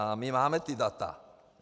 A my máme ta data.